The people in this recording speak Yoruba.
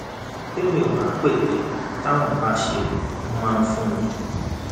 tèmi ò bá pète táwọn bá ṣẹ wọn máa fún mi